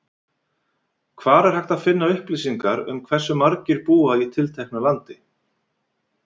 Hvar er hægt að finna upplýsingar um hversu margir búa í tilteknu landi?